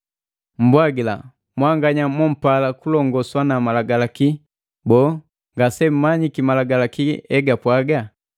Mmbwagila, mwanganya mompala kulongoswa na Malagalaki, boo, ngasemmanyiki Malagalaki egapwaga?